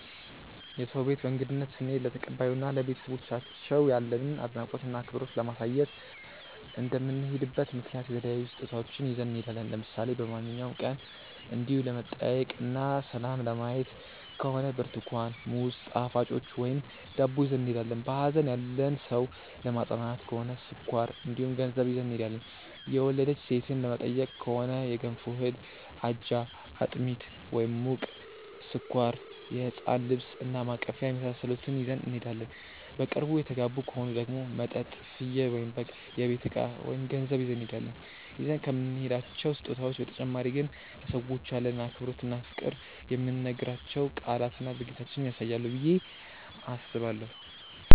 የሰው ቤት በእንግድነት ስንሄድ ለተቀባዩ እና ለቤተሰቦቻቸው ያለንን አድናቆት እና አክብሮት ለማሳየት እንደምንሄድበት ምክንያት የተለያዩ ስጦታዎችን ይዘን እንሄዳለን። ለምሳሌ በማንኛውም ቀን እንዲው ለመጠያየቅ እና ሰላም ለማየት ከሆነ ብርትኳን፣ ሙዝ፣ ጣፋጮች ወይም ዳቦ ይዘን እንሄዳለን። በሀዘን ያለን ሰው ለማፅናናት ከሆነ ስኳር እንዲሁም ገንዘብ ይዘን እንሄዳለን። የወለደች ሴትን ለመጠየቅ ከሆነ የገንፎ እህል፣ አጃ፣ አጥሚት (ሙቅ)፣ስኳር፣ የህፃን ልብስ እና ማቀፊያ የመሳሰሉትን ይዘን እንሄዳለን። በቅርብ የተጋቡ ከሆኑ ደግሞ መጠጥ፣ ፍየል/በግ፣ የቤት እቃ ወይም ገንዘብ ይዘን እንሄዳለን። ይዘን ከምንሄዳቸው ስጦታዎች በተጨማሪ ግን ለሰዎቹ ያለንን አክብሮት እና ፍቅር የምንናገራቸው ቃላትና ድርጊታችንም ያሳያሉ ብዬ አስባለሁ።